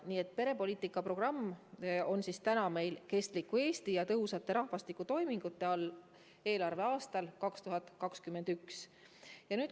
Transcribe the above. Nii et perepoliitika programm on meil "Kestliku Eesti ja tõhusate rahvastikutoimingute" programmi raames kavas eelarveaastal 2021.